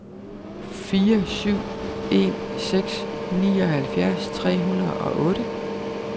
fire syv en seks nioghalvfjerds tre hundrede og otte